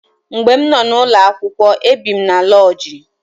Mgbe m nọ n'ụlọakwụkwọ ebi m n'loodji.